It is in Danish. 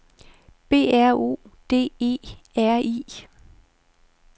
B R O D E R I